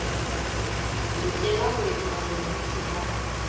lokela ho etsa bonnete ba